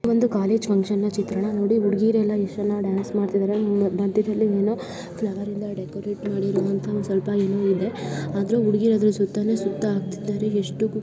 ಒಂದು college function ನ ಚಿತ್ರಣ. ನೋಡಿ ಹುಡ್ಗಿರೆಲ್ಲಾ ಎಷ್ಟ್ ಚೆನ್ನಾಗ್ ಡ್ಯಾನ್ಸ್ ಮಾಡ್ತಾಇದ್ದಾರೆ. ಮಧ್ಯದಲ್ಲಿ ಏನೊ ಫ್ಲವರ್ಯಿಂದ ಡೆಕೋರೇಟ್ ಮಾಡಿರೋವಂತ ಒಂದ್ ಸ್ವಲ್ಪ ಏನೋ ಇದೆ ಆದ್ರೂ ಹುಡ್ಗಿರ್ ಅದ್ರು ಜೊತೆನೋ ಸುತ್ತ ಹಾಕ್ತಿದ್ದಾರೆ ಎಷ್ಟು --